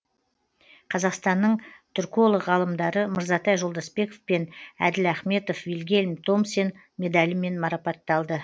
қазақстанның түрколог ғалымдары мырзатай жолдасбеков пен әділ ахметов вильгельм томсен медалімен марапатталды